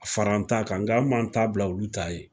Fara an ta kan, nka anw m'a t'a bila olu t'a ye